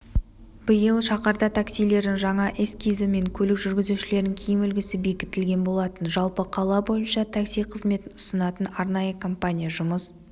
биыл шаһарда таксилердің жаңа эскизі мен көлік жүргізушілерінің киім үлгісі бекітілген болатын жалпы қала бойынша такси қыметін ұсынатын арнайы компания жұмыс